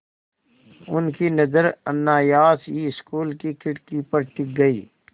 उनकी नज़र अनायास ही स्कूल की खिड़की पर टिक गई